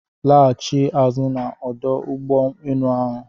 Lachie azụ na ọdụ ụgbọ enu ahụ!